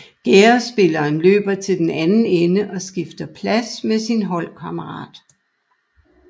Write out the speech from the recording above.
Gærdespilleren løber til den anden ende og skifter plads med sin holdkammerat